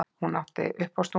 Hún átti uppástunguna.